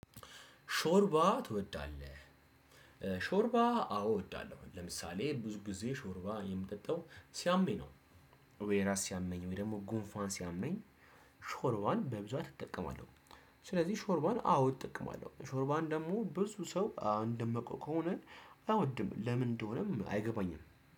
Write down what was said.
ሾርባ ትወዳለህ? ሾርባ አዎ እወዳለሁ። ለምሳሌ ብዙ ጊዜ ሾርባ የምጠጣው ሲያመኝ ነው። ወይ ራስ ሲያመኝ ወይ ደግሞ ጉንፋን ሲያመኝ ሾርባን በብዛት እጠቀማለሁ። ስለዚህ ሾርባን አዎ እጠቀማለሁ። ሾርባን ደግሞ ብዙ ሰው እንደማውቀው ከሆነ አይወድም ለምን እንደሆነም አይገባኝም።